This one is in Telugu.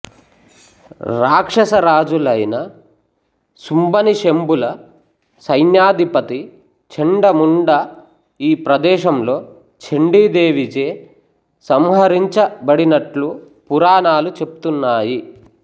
రాక్షసరాజులైన సుంభనిశుంభుల సైన్యాధిపతి చండముండ ఈ ప్రదేశంలో చంఢీ దేవిచే సంహరించ బడినట్లు పురాణాలు చెప్తున్నాయి